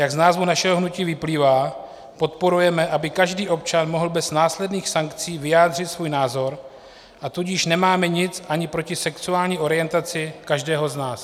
Jak z názvu našeho hnutí vyplývá, podporujeme, aby každý občan mohl bez následných sankcí vyjádřit svůj názor, a tudíž nemáme nic ani proti sexuální orientaci každého z nás.